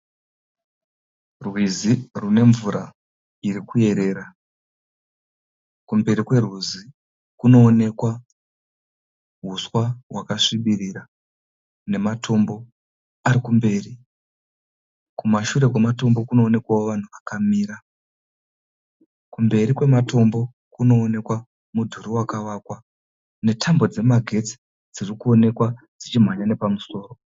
Rwizi rune mvura iri kuerera, kumberi kwerwizi kunooneka huswa hwakasvibirira nematombo arikumberi, kumashure kwematombo kunoonekwa vanhu vakamira, kumberi kwematombo kunoonekwa mudhuri vakavakwa netambo dzemagetsi dzirikuonekwa dzichimhanya pamusoro.